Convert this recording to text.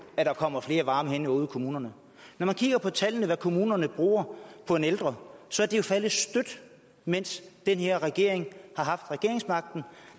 at der kommer flere varme hænder ude i kommunerne når man kigger på tallene for hvad kommunerne bruger på en ældre så at det er faldet støt mens den her regering har haft regeringsmagten